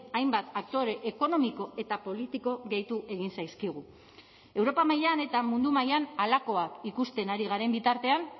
hainbat aktore ekonomiko eta politiko gehitu egin zaizkigu europa mailan eta mundu mailan halakoak ikusten ari garen bitartean